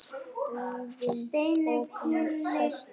Búðin opin sést á þér.